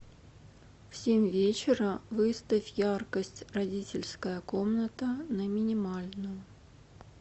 в семь вечера выставь яркость родительская комната на минимальную